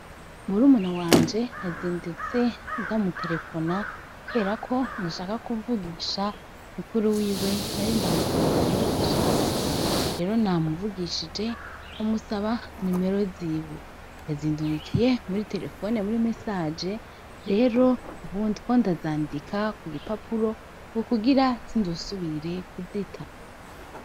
Murumuna wanje nazindutse ndamutelefona kuberako nashaka kuvugisha mukuru wiwe nari ndamukumbuye cane rero namuvugishije ndamusaba nimero ziwe yazindungikiye muri telefone muri mesaje rero ubu ndiko ndazandika kugi papuro kugira sinzesubire kuzita.